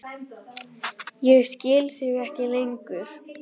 Ég skil þig ekki lengur.